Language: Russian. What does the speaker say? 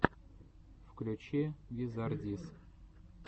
включи визардис